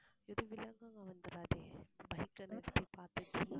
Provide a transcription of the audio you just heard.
ஏதும் விலங்குகள் வந்துடாதே bike ஆ நிறுத்தி பார்த்திட்டிருந்தா